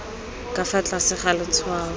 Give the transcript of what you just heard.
ka fa tlase ga letshwao